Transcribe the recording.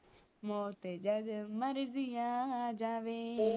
ਮੌਤ ਜਦ ਮਰਿਜੀ ਆ ਜਾਵੇ